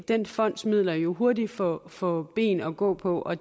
den fonds midler jo hurtigt få få ben at gå på og